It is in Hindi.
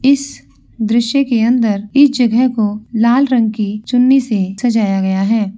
इस दृश्य के अंदर इस जगह को लाल रंग की चुन्नी से सजाया गया है।